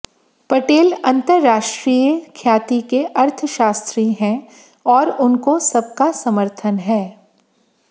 पटेल अंतरराष्ट्रीय ख्याति के अर्थशास्त्री हैं और उनको सबका समर्थन है